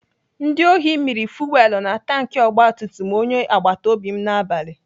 Ndị ohi mịrị fuwelu na tanki ogbatumtum onye agbatobi n'abalị.